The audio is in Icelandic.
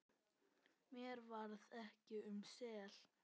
Mér varð ekki um sel.